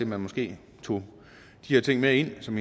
man måske tog de her ting med ind som